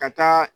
Ka taa